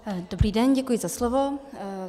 Dobrý den, děkuji za slovo.